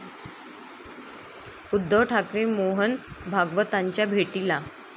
उद्धव ठाकरे मोहन भागवतांच्या भेटीला